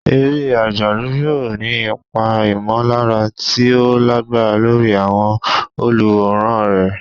Eré àjálù yóò ní ipa ìmọ̀lára tí ó lágbára lórí àwọn olùwòran rẹ̀.